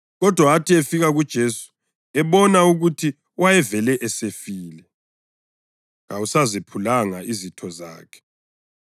Kodwa athi efika kuJesu ebona ukuthi wayevele esefile, kawasazephulanga izitho zakhe.